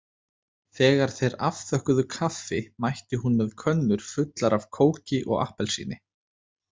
Þegar þeir afþökkuðu kaffi mætti hún með könnur fullar af kóki og appelsíni.